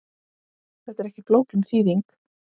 Þetta er ekki flókin þýðing.